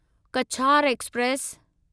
Cachar express